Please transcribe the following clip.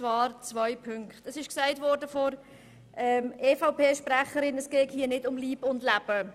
Grossrätin Beutler hat gesagt, es gehe nicht um Leib und Leben.